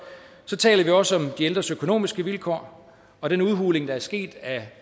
taler vi også om de ældres økonomiske vilkår og den udhuling der er sket af